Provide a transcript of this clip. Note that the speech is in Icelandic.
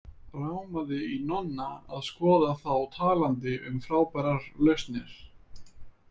Rámaði í Nonna að skoða þá talandi um frábærar lausnir.